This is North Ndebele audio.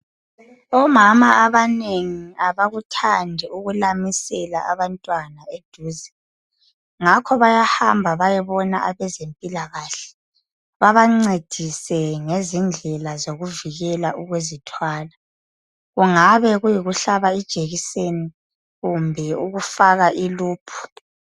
Omama abanengi abakuthandi ukulamisela abantwana eduze ngakho bayahamba bayebona abezempilakahle, babancedise ngezindlela zokuvikela ukuzithwala kungabe kuyikuhlaba ijekiseni kumbe ukufaka iluphu.